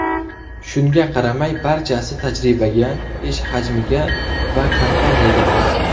Shunga qaramay, barchasi tajribaga, ish hajmiga va kompaniyaga bog‘liq.